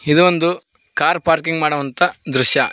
ಇದು ಒಂದು car parking ಮಾಡುವಂತ ದೃಶ್ಯ.